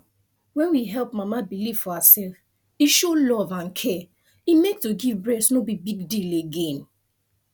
when we help mama believe for herself e show love and care e make to give breast no be big deal again